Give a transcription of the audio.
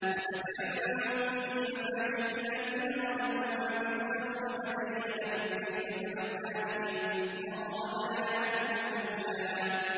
وَسَكَنتُمْ فِي مَسَاكِنِ الَّذِينَ ظَلَمُوا أَنفُسَهُمْ وَتَبَيَّنَ لَكُمْ كَيْفَ فَعَلْنَا بِهِمْ وَضَرَبْنَا لَكُمُ الْأَمْثَالَ